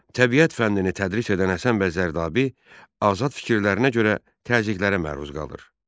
Təbiət fənnini tədris edən Həsən bəy Zərdabi azad fikirlərinə görə təzyiqlərə məruz qalır.